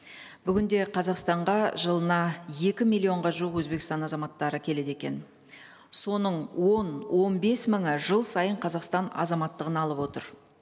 бүгін де қазақстанға жылына екі миллионға жуық өзбекстан азаматтары келеді екен соның он он бес мыңы жыл сайын қазақстан азаматтығын алып отыр